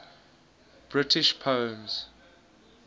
british poems